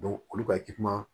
olu ka